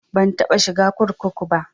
Ban taɓa shiga kurkuku ba